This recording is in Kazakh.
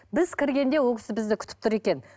біз кіргенде ол кісі бізді күтіп тұр екен